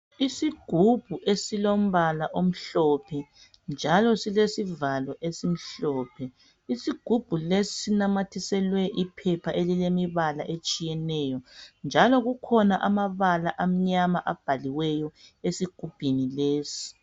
Isigubhu esilombala omhlophe njalo silesivalo esimhlophe. Isigubhu lesi sinamathiselwe iphepha elilemibala etshiyeneyo njalo kukhona amabala amnyama abhaliweyo esigubhini lesi.